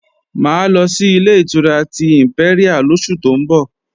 Mà á lọ sí Ilé-ìtura ti ìmpẹ́ríà lóṣù tó ń bọ̀